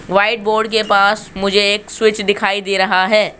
White board के पास मुझे एक स्विच दिखाई दे रहा है।